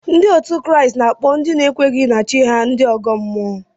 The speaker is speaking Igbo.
Ndị Kraịst na-akpọ ndị na-ekweghị na chi ha ndị ọgọ mmụọ